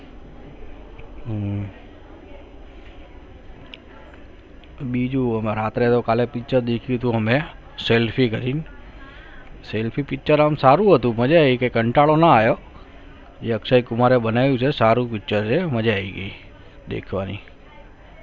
બીજું કાલે રાત્રે નું picture દેખું તો હમે selfie લઈ selfie picture સારું છે કાંટાળા ના આયો એ અક્ષય કુમાર ને બનાયી ગયી સારું picture છે મજા આવી ગયી દેખવાની